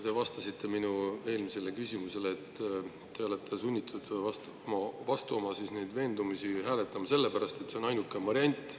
Te vastasite minu eelmisele küsimusele, et te olete sunnitud hääletama vastu oma veendumusi sellepärast, et see on ainuke variant.